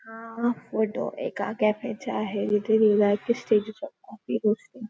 हा फोटो एका कॅफे चा आहे इथे लिहिलेलं आहे कि --